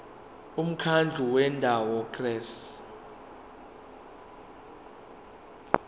umkhandlu wendawo ngerss